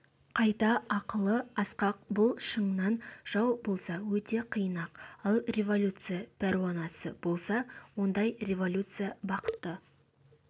қайта ақылы асқақ бұл шыннан жау болса өте қиын-ақ ал революция пәруанасы болса ондай революция бақытты